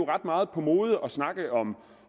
ret meget på mode at snakke om